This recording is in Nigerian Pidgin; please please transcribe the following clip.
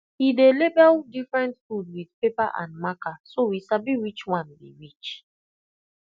he dey label different food with paper and marker so we sabi which one be which